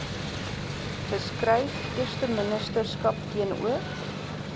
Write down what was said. geskryf eersteministerskap teenoor